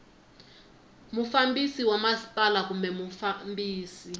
mufambisi wa masipala kumbe mufambisi